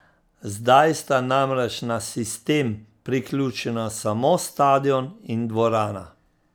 Zdaj sta namreč na sistem priključena samo stadion in dvorana.